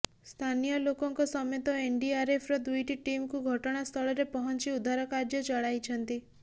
ସ୍ଥାନୀୟ ଲୋକଙ୍କ ସମେତ ଏନଡିଆରଏଫର ଦୁଇଟି ଟିମକୁ ଘଟଣାସ୍ଥଳରେ ପହଁଚି ଉଦ୍ଧାର କାର୍ଯ୍ୟ ଚଲାଇଛନ୍ତି